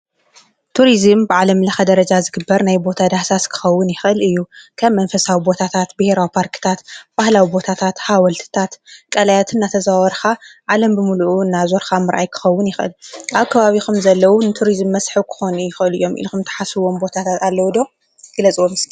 ቱርስም ብዓለም ለኸ ደረጃ ዝግበር ናይ ቦታ ዳሕሳስ ክኸዉን ይኽል እዩ ከም መንፈሳዊ ቦታታት ብይሮ ጳርክታት ባህላዊ ቦታታት ሓወልትታት ቀልያትን ኣተዘዋርኻ ዓለም ብምሉኡ እናዞርካ ምርኣይ ክኸውን ይኽል ኣብ ከባቢኹም ዘለዉ ንቱርዝም መስሒ ክኾን ይኽእል እዮም ኢልኹም ተሓስዎም ቦታታት ኣለዉዶ ግለ ጽወ ም?